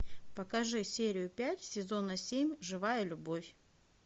покажи серию пять сезона семь живая любовь